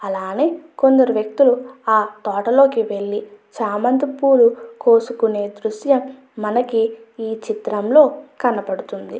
అలానే కొందరు వ్యక్తులు ఆ తోటలోకి వెళ్ళి చేమంతి పూలు కోసుకునే దృశ్యం మనకి ఈ చిత్రం లో కనబడచున్నది.